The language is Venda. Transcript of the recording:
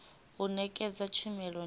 u nekedza tshumelo ndi ya